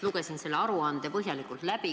Lugesin selle aruande põhjalikult läbi.